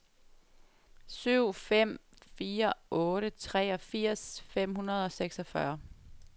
syv fem fire otte treogfirs fem hundrede og seksogfyrre